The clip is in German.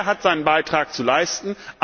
Jeder hat seinen Beitrag zu leisten.